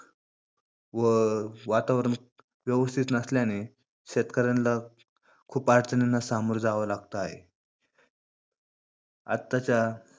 व वातावरण व्यवस्थित नसल्याने शेतकऱ्यांना खूप अडचणींना सामोरे जावे लागत आहे. आत्ताच्या व